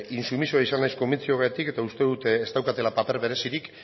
intsumisoa izan naiz konbentzioagatik eta uste dut ez daukatela paper berezirik